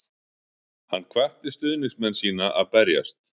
Hann hvatti stuðningsmenn sína að berjast